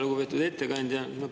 Lugupeetud ettekandja!